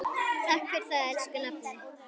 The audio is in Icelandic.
Takk fyrir það, elsku nafni.